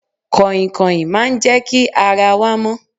Kàìnkàìn máa ń jẹ́ kí ara wa mọ́.